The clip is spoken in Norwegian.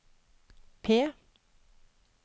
P